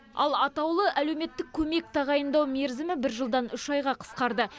ал атаулы әлеуметтік көмек тағайындау мерзімі бір жылдан үш айға қысқарды